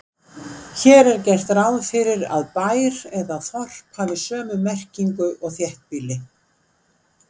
Hér er gert ráð fyrir að bær eða þorp hafi sömu merkingu og þéttbýli.